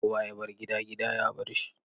Kowa ya bar gida, gida ya bar shi.